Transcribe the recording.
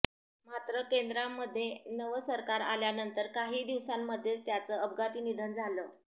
मात्र केंद्रामध्ये नवं सरकार आल्यानंतर काही दिवसांमध्येच त्यांचं अपघाती निधन झालं